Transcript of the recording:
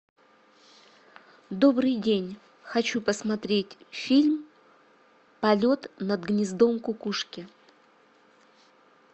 добрый день хочу посмотреть фильм полет над гнездом кукушки